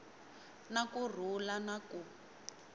na ku rhula na ku